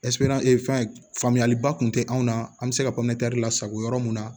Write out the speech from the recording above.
fɛn faamuyaliba kun tɛ anw na an be se ka lasago yɔrɔ mun na